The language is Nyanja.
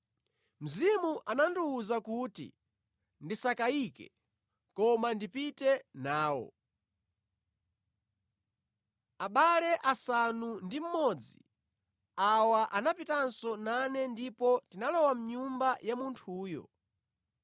Mzimu anandiwuza kuti ndisakayike, koma ndipite nawo. Abale asanu ndi mmodzi awa anapitanso nane ndipo tinalowa mʼnyumba ya munthuyo.